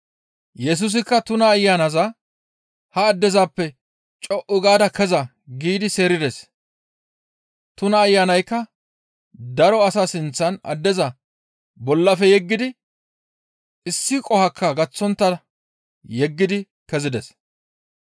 Yesusikka tuna ayanaza ha addezappe, «Co7u gaada keza» giidi seerides; tuna ayanazikka daro asaa sinththan addeza bollafe yeggidi issi qohokka gaththontta yeddi kezides.